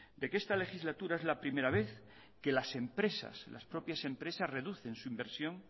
de que esta legislatura es la primera vez que las empresas las propias empresas reducen su inversión